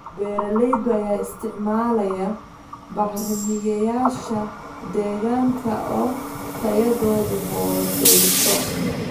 Beeralayda ayaa isticmaalaya bacrimiyeyaasha deegaanka oo tayadoodu hoosayso.